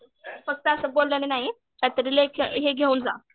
फक्त असं बोलण्याने नाही काही तरी हे घेऊन जा.